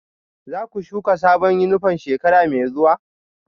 Za ku shuka sabon yunifom shekara mai zuwa?